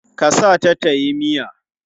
Ka sa ta tayi miya?